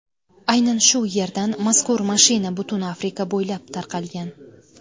Aynan shu yerdan mazkur mashina butun Afrika bo‘ylab tarqalgan.